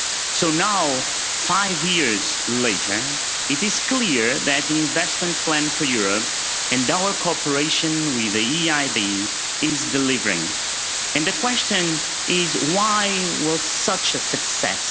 So now, five years later, it is clear that the Investment Plan for Europe and our cooperation with the EIB is delivering, and the question is why was it such a success?